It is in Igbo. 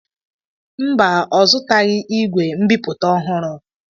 Mba, ọ zụtaghị igwe mbipụta ọhụrụ.